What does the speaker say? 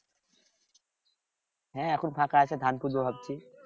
হ্যাঁ এখন ফাঁকা আছে ধান করবো ভাবছি